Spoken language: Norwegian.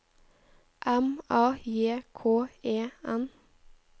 M A J K E N